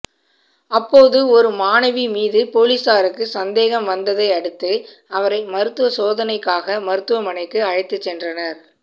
அப்போது ஒரு மாணவி மீது போலீசாருக்கு சந்தேகம் வந்ததை அடுத்து அவரை மருத்துவ சோதனைக்காக மருத்துவமனைக்கு அழைத்து சென்றனர்